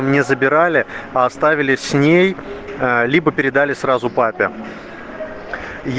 не забирали а оставили с ней ээ либо передали сразу папе